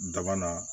Daba na